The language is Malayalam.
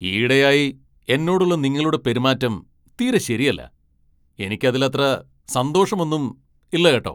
ഈയിടെയായി എന്നോടുള്ള നിങ്ങളുടെ പെരുമാറ്റം തീരെ ശരിയല്ല, എനിക്കതിലത്ര സന്തോഷമൊന്നും ഇല്ല കേട്ടോ.